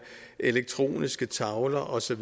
elektroniske tavler og så